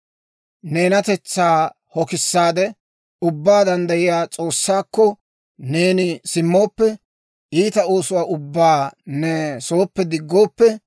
Neenatetsaa hokissaade, Ubbaa Danddayiyaa S'oossaakko, neeni simmooppe; iita oosuwaa ubbaa ne sooppe diggooppe;